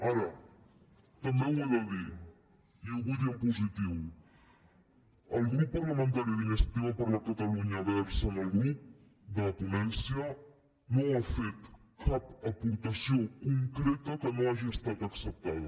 ara també ho he de dir i ho vull dir en positiu el grup parlamentari d’iniciativa per catalunya verds en el grup de ponència no ha fet cap aportació concreta que no hagi estat acceptada